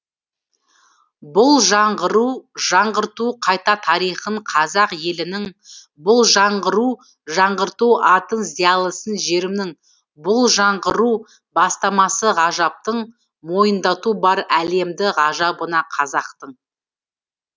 бұл жаңғыру жаңғырту қайта тарихын қазақ елінің бұл жаңғыру жаңғырту атын зиялысын жерімнің бұл жаңғыру бастамасы ғажаптың мойындату бар әлемді ғажабына қазақтың